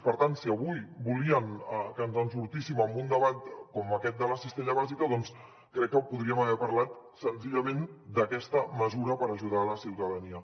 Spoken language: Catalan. per tant si avui volien que ens en sortíssim amb un debat com aquest de la cistella bàsica crec que podríem haver parlat senzillament d’aquesta mesura per ajudar la ciutadania